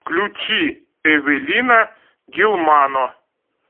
включи эвелина гилмано